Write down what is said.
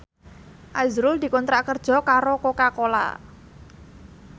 azrul dikontrak kerja karo Coca Cola